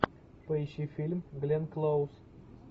поищи фильм гленн клоуз